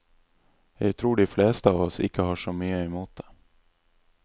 Jeg tror de fleste av oss ikke har så mye i mot det.